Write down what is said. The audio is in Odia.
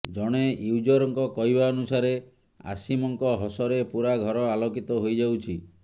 ଜଣେ ୟୁଜରଙ୍କ କହିବା ଅନୁସାରେ ଆସୀମଙ୍କ ହସରେ ପୂରା ଘର ଆଲୋକିତ ହୋଇଯାଉଛି